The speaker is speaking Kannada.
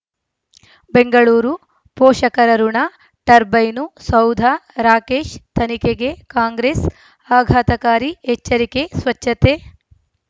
ಬೆಂಗಳೂರು ಪೋಷಕರಋಣ ಟರ್ಬೈನು ಸೌಧ ರಾಕೇಶ್ ತನಿಖೆಗೆ ಕಾಂಗ್ರೆಸ್ ಆಘಾತಕಾರಿ ಎಚ್ಚರಿಕೆ ಸ್ವಚ್ಛತೆ